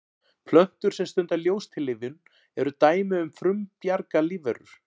plöntur sem stunda ljóstillífun eru dæmi um frumbjarga lífverur